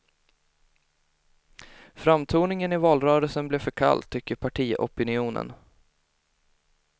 Framtoningen i valrörelsen blev för kall, tycker partiopinionen.